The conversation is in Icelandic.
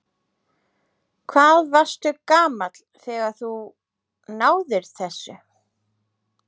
Hvað varstu gamall þegar að þú náðir þessu?